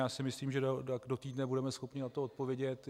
Já si myslím, že do týdne budeme schopni na to odpovědět.